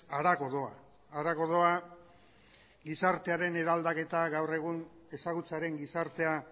harago doa harago doa gizartearen eraldaketa gaur egun ezagutzaren gizartea